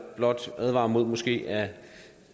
blot advarer mod måske at